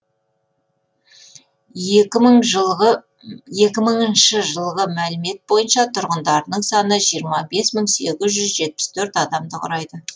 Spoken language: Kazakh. екі мыңыншы жылғы мәліметтер бойынша тұрғындарының саны жиырма бес мың сегіз жүз жетпіс төрт адамды құрайды